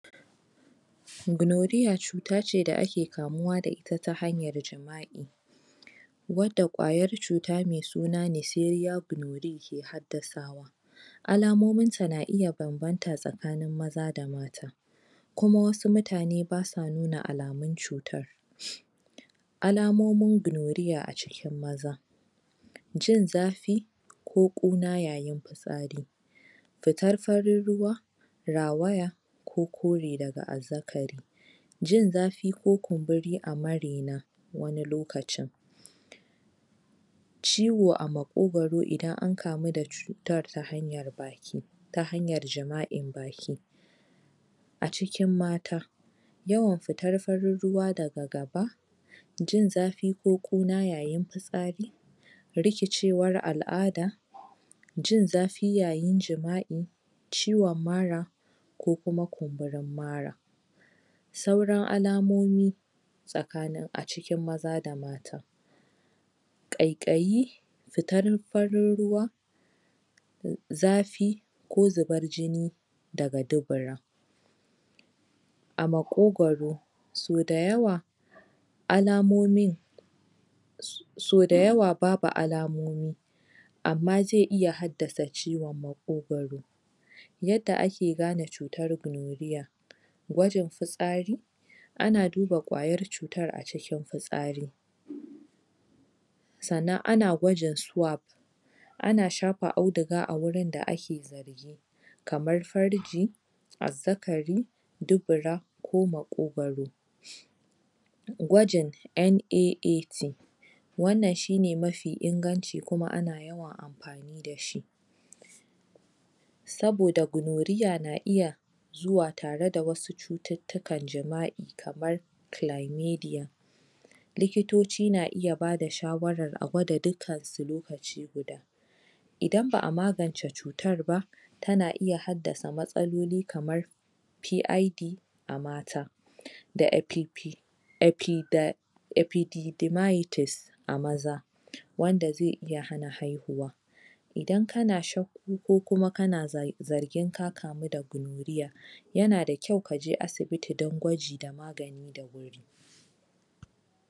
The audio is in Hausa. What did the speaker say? Gonorrhea cuta ce da ake kamuwa da ita ta hanyar jima'i wadda ƙwayar cuta mai suna Neisseria gonorrhoeae ke haddasawa alamominta na iya banbanta tsakanin maza da mata. kuma wasu mutane ba sa nuna alamun cutar, Alamomin gonorrhea a cikin maza jin zafi ko ƙunan yayin fitsari fitar farin ruwa, rawaya ko kore daga azzakari jin zafi ko kumburi a maraina wani lokacin ciwo a maƙwagwaro idan an kamu da cutar ta hanyar baki ta hanyar jima'in baki A cikin mata yawan fitar farin ruwa daga gaba jin zafi ko ƙuna yayin fitsari rikicewar al'ada jin zafi yayin jima'i ciwon mara ko kuma kumburin mara. Sauran alamomi a cikin maza da mata ƙaiƙayi fitar farin ruwa zafi ko zubar jini daga dubura a maƙwogwaro sau da yawa alamomin sau dayawa babu alamomi amma zai iya haddasa ciwon maƙwogwaro yadda ake gane cutar gonorrhea gwajin fitsari ana duna ƙwayar cutar a cikin fitsari sannan ana gwajin swap ana shafa audiga a wajen da ake kamar farji azzakari dubura ko maƙwogwaro. Gwajin NNAT wannan shi ne mafi inganci kuma ana yawan amfani da shi Saboda gonorrhea na iya zuwa da wasu cututtukan jima'i kamar likitoci naiya ba da shawarar a gwada dukkansu lokaci guda idan ba a magance cutar ba tana iya haddasa matsaloli kamar PID a mata da FPP a maza wanda zai iya hana haihuwa idan kana shakku ko kuma kana zargin ka kamu da gonorrhea yana da kyau ka je asibita don gwaji da magani da wuri.